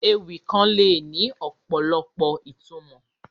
Ewì kàn le ni ọ̀pọ̀lọpọ̀ ìtumọ̀